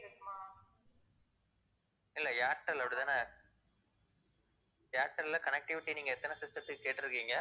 இல்ல ஏர்டெல் அப்படித்தானே ஏர்டெல்ல connectivity நீங்க எத்தனை system த்துக்கு கேட்டிருக்கீங்க?